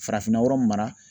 Farafinna yɔrɔ mara.